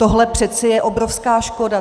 Tohle přece je obrovská škoda.